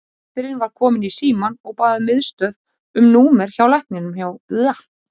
Systirin var komin í símann og bað miðstöð um númerið hjá lækninum og hjá